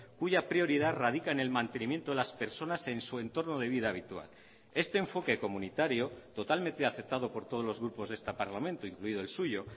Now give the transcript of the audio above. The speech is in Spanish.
cuya prioridad radica en el mantenimiento de las personas en su entorno de vida habitual este enfoque comunitario totalmente aceptado por todos los grupos de este parlamento incluido el suyo